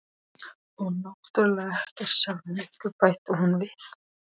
Og náttúrlega ekkert sjálfum ykkur, bætti hún við.